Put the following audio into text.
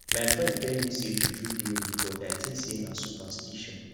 my friend tell me sey juju dey real but i tink sey na superstition